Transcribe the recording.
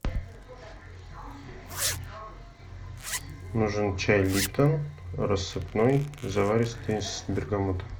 нужен чай липтон рассыпной заваристый с бергамотом